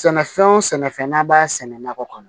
Sɛnɛfɛn wo sɛnɛfɛn n'an b'a sɛnɛ nakɔ kɔnɔ